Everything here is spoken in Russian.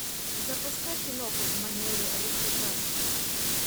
запускай киноху в манере русской классики